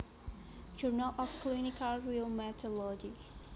Journal of Clinical Rheumatology